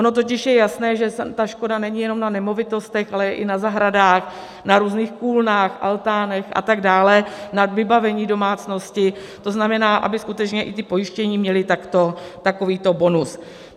Ono totiž je jasné, že ta škoda není jenom na nemovitostech, ale i na zahradách, na různých kůlnách, altánech a tak dále, na vybavení domácnosti - to znamená, aby skutečně i ti pojištění měli takovýto bonus.